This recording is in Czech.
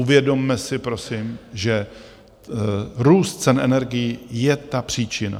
Uvědomme si prosím, že růst cen energií je ta příčina.